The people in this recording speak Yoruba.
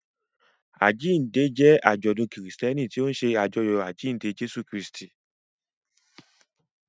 Àjíǹde jẹ́ àjọ̀dún Kristẹni tó ń ṣe àjọyọ̀ àjíǹde Jésù Kristi.